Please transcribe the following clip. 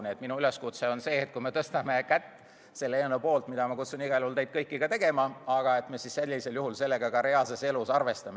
Nii et minu üleskutse on, et kui me anname hääle selle eelnõu poolt – ma kutsun igal juhul teid kõiki seda tegema –,siis me reaalses elus sellega ka arvestaksime.